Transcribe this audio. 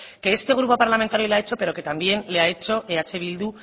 que este grupo parlamentario le ha hecho pero que también le ha hecho eh bildu